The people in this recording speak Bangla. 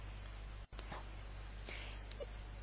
এবার এন্টার টিপলাম